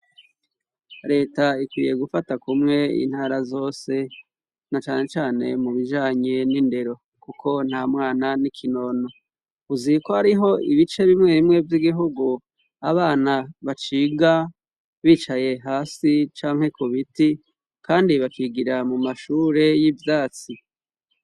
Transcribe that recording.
reta ikwiye gufata kumwe intara zose na cane cane mu bijanye n'indero kuko nta mwana n'ikinono uzi ko hariho ibice bimwe bimwe vy'igihugu abana baciga bicaye hasi canke kubiti kandi bakigira mu mashure y'ivyatsi